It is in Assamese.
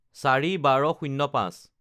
০৪/১২/০৫